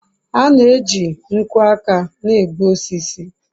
a na-eji nkwo aka na-egbu osisi